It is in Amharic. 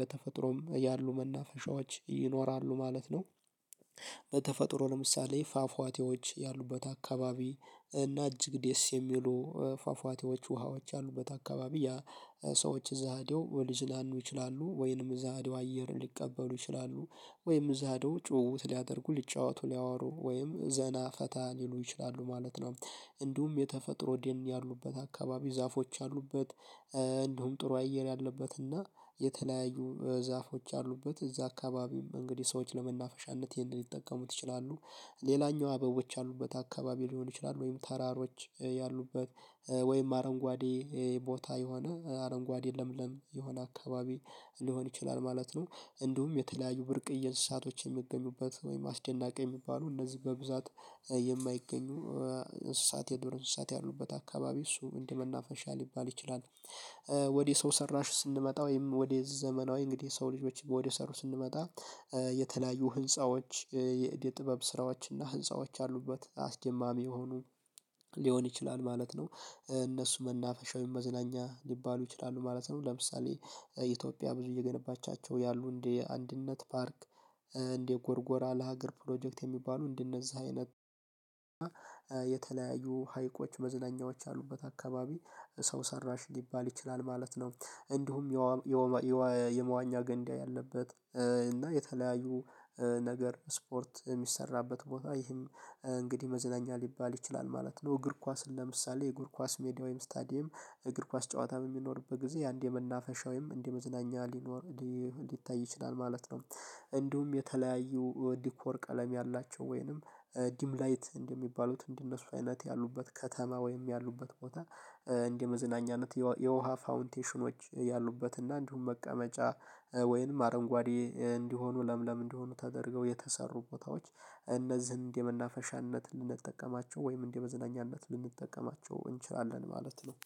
በተፈጥሮም ያሉ መናፈሻዎች ይኖራሉ ማለት ነው። በተፈጥሮ ለምሳሌ ፏፏቴዎች ያሉበት አካባቢ እና እጅግ ደስ የሚሉ ፏፏቴዎች ውሃዎች ያሉበት አካባቢ ያ ሰዎች እዛ ሄደው ሊዝናነኑ ይችላሉ ወይንም እዛ ሄደው አየር ሊቀበሉ ይችላሉ ወይንም እዛ ሄደው ጭውውት ሊያደርጉ ሊጫወቱ ሊያወሩ ወይንም ዘና ፈታ ሊሉ ይችላሉ ማለት ነው። እንዲሁም የተፈጥሮ ደን ያሉበት አካባቢ ዛፎች ያሉበት እንዲሁም ጥሩ አየር ያለበት እና የተለያዩ ዛፎች ያሉበት እዛ አካባቢ እንግዲህ ሰዎች ለመናፈሻነት ይህንን ሊጠቀሙት ይችላሉ። ሌላኛው አበቦች ያሉበት አካባቢ ሊሆን ይችላሉ ወይም ተራሮች ያሉበት ወይም አረንጓዴ ቦታ የሆነ አረንጓድ ለምለም የሆነ አካባቢ ሊሆን ይችላል ማለት ነው። እንዲሁም የተለያዩ ብርቅየ እንስሳቶች የሚገኙበት ወይም አስደናቂ የሚባሉ እነዚህ በብዛት የማይገኙ እንስሳት የዶር እንስሳት ያሉበት አካባቢ እሱ እንደ መናፈሻ ሊባል ይችላል። ወደ ሰው ሰራሽ ስንመጣ ወይም ወደ ዘመናዊ እንግዲህ የሰው ልጆችን ወደ ሰሩት ስንመጣ የተለያዩ ህንፃዎች የእደ ጥበብ ስራዎችና ህንፃዎች ያሉበት አስደማሚ የሆኑ ሊሆን ይችላል ማለት ነው። እነሱ መናፈሻ ወይም መዝናኛ ሊባሉ ይችላሉ ማለት ነው ለምሳሌ ኢትዮጵያ ብዙ እየገነባቻቸው ያሉ እንደ አንድነት ፓርክ እንደ ጎርጎራ ለሀገር ፕሮጀክት የሚባሉ እንደ እነዛ አይነት የተለያዩ ሀይቆች መዝናኛዎች ያሉበት አካባቢ ሰው ሰራሽ ሊባል ይችላል ማለት ነው። እንዲሁም የመዋኛ ገንዳ ያለበት እና የተለያዩ ነገር ስፖርት የሚሰራበት ቦታ ይህም እንግዲህ መዝናኛ ሊባል ይችላል ማለት ነው እግር ኳስን ለምሳሌ እግር ኳስ ሜዳ ወይም ስታዲየም እግር ኳስ ጨዋታ በሚኖርበት ጊዜ አንድ የመናፈሻ ወይም እንደ መዝናኛ ሊኖር ሊታይ ይችላል ማለት ነው። እንዲሁም የተለያዩ ዲኮር ቀለም ያላቸው ወይንም ድምላይት እንደሚባሉት እንዲህ እነሱ አይነት ያሉበት ከተማ ወይም ያሉበት ቦታ እንደ መዝናኛነት የውሃ ፋውንቴኖች ያሉበት እና እንዲሁም መቀመጫ ወይንም አረንጓዴ እንዲሆኑ ለምለም እንዲሆኑ ተደርገው የተሰሩ ቦታዎች እነዚህን እንደ መናፈሻነት ልንጠቀማቸው ወይም እንደ መዝናኛነት ልንጠቀማቸው እንችላለን ማለት ነው።